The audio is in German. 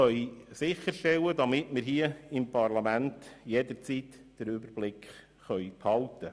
Wir wollen sicherstellen, dass wir im Parlament jederzeit den Überblick behalten.